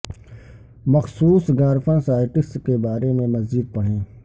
مخصوص غار فن سائٹس کے بارے میں مزید پڑھیں